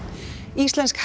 íslensk